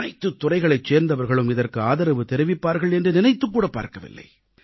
அனைத்துத் துறைகளைச் சேர்ந்தவர்களும் இதற்கு ஆதரவு தெரிவிப்பார்கள் என்று நினைத்துக்கூடப் பார்க்கவில்லை